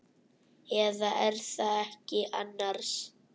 Eða. er það ekki annars?